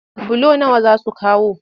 Bulo nawa za su kawo?